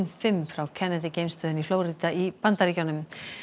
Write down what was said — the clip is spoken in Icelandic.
fimm frá Kennedy geimstöðinni í Flórída í Bandaríkjunum